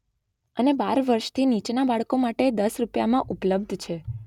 અને બાર વર્ષથી નીચેના બાળકો માટે દસ રુપિયામાં ઉપલબ્ધ છે